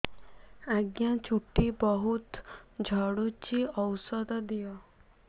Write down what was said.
ଆଜ୍ଞା ଚୁଟି ବହୁତ୍ ଝଡୁଚି ଔଷଧ ଦିଅ